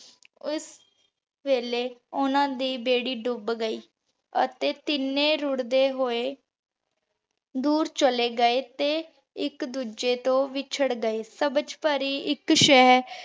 ਓਸ ਵੀਲ੍ਯ ਓਹਨਾਂ ਦੀ ਬੇਰੀ ਡੂਬ ਗਈ ਅਤੀ ਤੀਨੀ ਰੁਰ੍ਡੀ ਹੋਆਯ ਦੂਰ ਚਲੇ ਗਾਯ ਤੇ ਏਇਕ ਦੋਜਯ ਤੋਂ ਵਿਚਾਰ ਗਾਯ ਸਬਝ ਪਾਰੀ ਏਇਕ ਸ਼ੇਹਰ